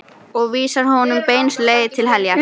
Og vísar honum beinustu leið til heljar.